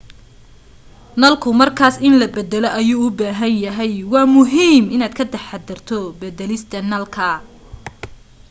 nalku markaas in la baddalo ayuu u baahan yahay waa muhiim inaad ka taxaddarto beddelista nalka